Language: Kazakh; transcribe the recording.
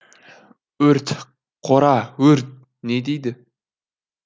өрт қора өрт не дейді